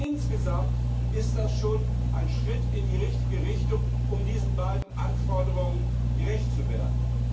Insgesamt ist das schon ein Schritt in die richtige Richtung, um diesen beiden Anforderungen gerecht zu werden.